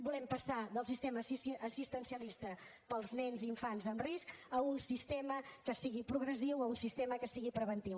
volem passar del sistema assistencialista per als nens i infants en risc a un sistema que sigui progressiu a un sistema que sigui preventiu